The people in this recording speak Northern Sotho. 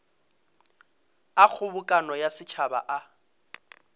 a kgobokano ya setšhaba a